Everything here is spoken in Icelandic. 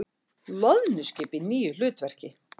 Loðnuskip í nýju hlutverki